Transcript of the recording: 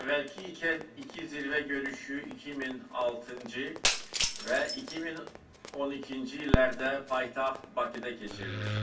Əvvəlki iki zirvə görüşü 2006-cı və 2012-ci illərdə paytaxt Bakıda keçirilmişdir.